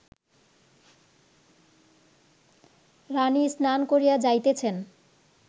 রাণী স্নান করিয়া যাইতেছেন